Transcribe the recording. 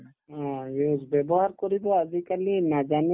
অ, use ব্যৱহাৰ কৰিব আজিকালি নাজানে